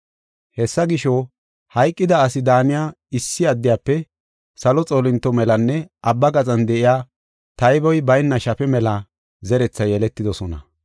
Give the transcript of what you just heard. Hessa gisho, hayqida asi daaniya issi addiyafe salo xoolinto melanne abba gaxan de7iya tayboy bayna shafe mela zerethi yeletidosona.